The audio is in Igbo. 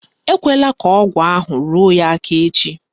Ekwela ka ọgụ ahụ ruo ya aka echi